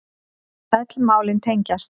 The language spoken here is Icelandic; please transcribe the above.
Öll málin tengjast